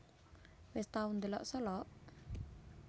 Wes tau ndelok Solok?